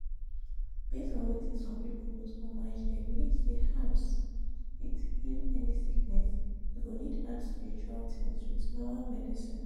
based on wetin some people put for mind they believe say herbs fit heal any sickness e go need add spiritual things with normal medicine.